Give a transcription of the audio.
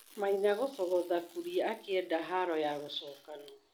Maina gũcogotha Kuria akĩenda haro ya gũcokanwo.